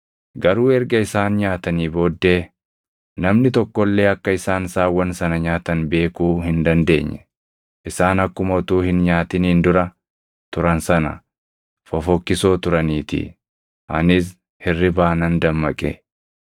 Garuu erga isaan nyaatanii booddee namni tokko illee akka isaan saawwan sana nyaatan beekuu hin dandeenye; isaan akkuma utuu hin nyaatiniin dura turan sana fofokkisoo turaniitii. Anis hirribaa nan dammaqe.